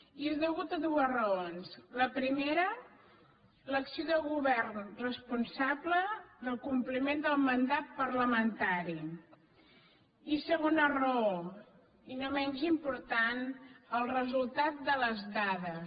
i és per dues raons la prime·ra l’acció de govern responsable del compliment del mandat parlamentari i segona raó i no menys impor·tant el resultat de les dades